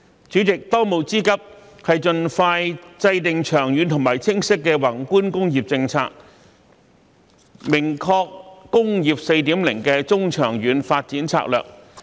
主席，當務之急是盡快制訂長遠和清晰的宏觀工業政策，明確"工業 4.0" 的中、長遠發展策略。